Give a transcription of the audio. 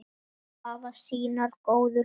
Allir hafa sínar góðu hliðar.